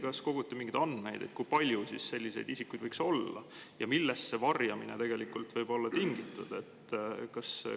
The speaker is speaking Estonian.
Kas koguti mingeid andmeid, kui palju selliseid isikuid võiks olla ja millest see varjamine tegelikult võib olla tingitud?